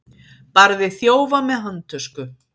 Barði þjófa með handtösku